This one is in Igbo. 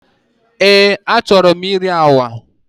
Eé, achọrọ m iri agwa.